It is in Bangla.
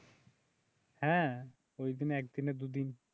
হ্যাঁ ওই দিনে একদিন দুদিন